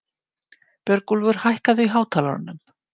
Björgúlfur, hækkaðu í hátalaranum.